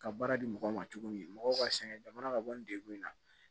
Ka baara di mɔgɔw ma cogo min mɔgɔw b'a sɛgɛn jamana ka bɔ nin degun in na